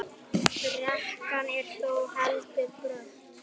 Brekkan er þó heldur brött.